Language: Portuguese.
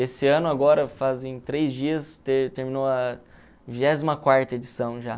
Esse ano agora, fazem três dias, ter terminou a vigésima edição já.